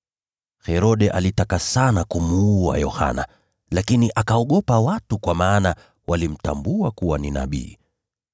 Herode alitaka sana kumuua Yohana, lakini akaogopa watu, kwa maana walimtambua kuwa ni nabii.